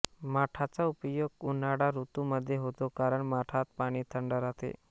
माठाचा उपयोग उन्हाळा ऋतूमध्ये होतो कारण माठात पाणी थंड राहते